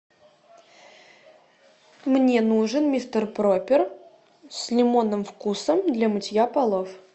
мне нужен мистер пропер с лимонным вкусом для мытья полов